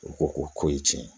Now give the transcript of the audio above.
U ko ko ye tiɲɛ ye